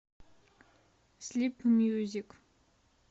слип мьюзик